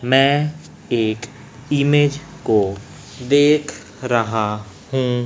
मैं एक ईमेज को देख रहा हूं।